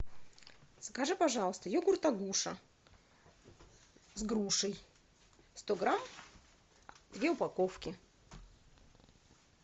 закажи пожалуйста йогурт агуша с грушей сто грамм две упаковки